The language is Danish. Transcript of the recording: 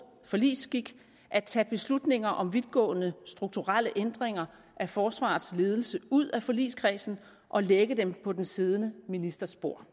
forligsskik at tage beslutninger om vidtgående strukturelle ændringer af forsvarets ledelse ud af forligskredsen og lægge dem på den siddende ministers bord